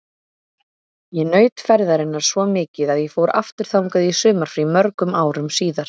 Ég naut ferðarinnar svo mikið að ég fór aftur þangað í sumarfrí mörgum árum síðar.